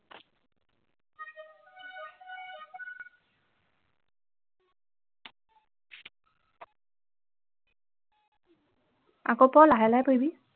আকৌ পঢ় লাহে লাহে পঢ়িবি